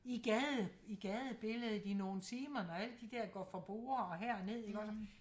I gaden i gadebilledet i nogen timer når alle der der går fra borde og herned iggås